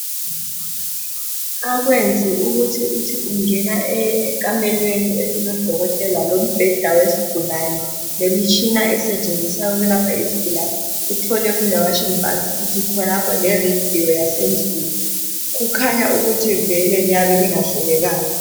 Akwenzi ukuthi uthi ungena ekamelweni elilodokotela lombheda wesigulane lemitshina esetshenziswa ukulapha isigulane uthole kulewashing bhasikithi khonapho leradio yasendlini kukhanya ukuthi vele liyabe lingahlelekanga